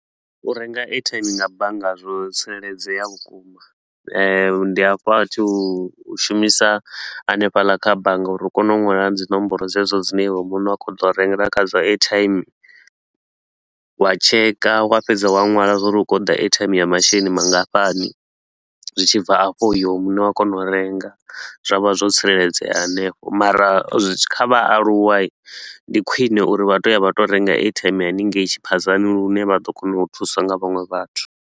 U renga airtime nga bannga zwo tsireledzea vhukuma eh ndi a fha thu u shumisa hanefhaḽa kha bannga uri u kone u nwala dzi nomboro dzedzo dzine iwe muṋe wa khou toḓo u rengela khadzo airtime. Wa checker wa fhedza wa nwala zwa uri u khou toḓa airtime ya masheleni mangafhani, zwi tshi bva afho iwe muṋe wa kona u renga. Zwa vha zwo tsireledzea hanefho mara kha vhaaluwa ndi khwine uri vha tou ya vha tou renga airtime hanengei tshiphadzani lune vha ḓo kona u thuswa nga vhaṅwe vhathu.